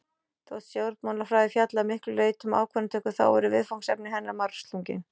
Þótt stjórnmálafræði fjalli að miklu leyti um ákvarðanatöku þá eru viðfangsefni hennar margslungin.